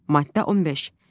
Maddə 15.